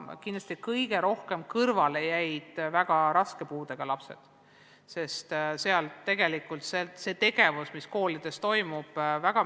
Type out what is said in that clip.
Kindlasti kõige rohkem jäid kõrvale väga raske puudega lapsed, sest see tegevus, mis toimub koolides, on spetsiifiline.